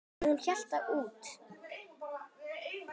En hún hélt út.